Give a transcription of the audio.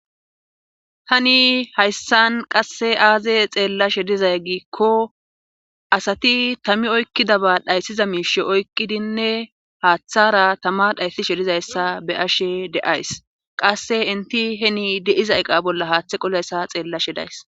hani hayssan qasse aaze xeellashe dizay giikko asati tami oykkida ba dhayssiza miishe oykkidinne haaththara tama dhaysishe dizayssa be ashe deays qasse inti heni deiza eqa bolla haaththe qolayssa xeellashe days